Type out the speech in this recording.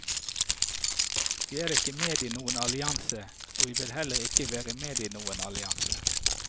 Vi er ikke med i noen allianse, og vi vil heller ikke være med i noen allianse.